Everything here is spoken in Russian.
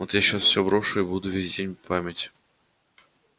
вот я сейчас всё брошу и буду весь день память